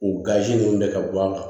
U gazi ninnu de ka bɔ a la